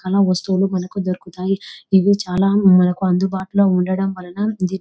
చాల వస్తువులు మనకి దొరుకుతాయి. ఇవి చాల అందుబాటులో ఉండటం వలన ఇధి --